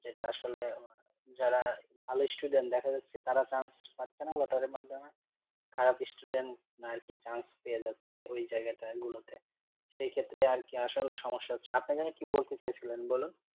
যেটা আসলে যারা ভালো student দেখা যাচ্ছে তারা chance পাচ্ছে না লটারির মাধ্যমে খারাপ student আর কি chance পেয়ে যাচ্ছে ওই জায়গাটা গুলোতে সেইক্ষেত্রে আর কি আসলে সমস্যা হচ্ছে, আপনি যেন কি বলতে চাইছিলেন বলুন?